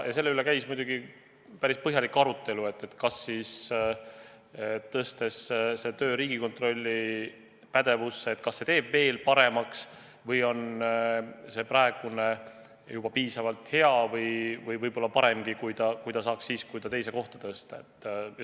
Ja selle üle käis muidugi päris põhjalik arutelu, kas see, kui see töö läheb Riigikontrolli pädevusse, teeb tulemused veel paremaks või on praegune tase juba piisavalt hea või ehk paremgi, kui see oleks siis, kui kontroll teise kohta tõsta.